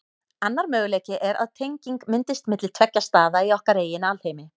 Annar möguleiki er að tenging myndist milli tveggja staða í okkar eigin alheimi.